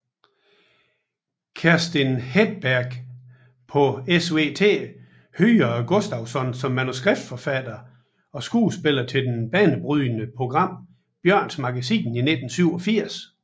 Kerstin Hedberg på SVT hyrede Gustafsson som manuskripforfatter og skuespiller til det banebrydende program Björnes magasin i 1987